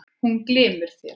Hún glymur þér.